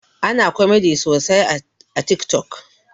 Ana komedi sosai a tik tok